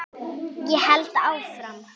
Ég held áfram.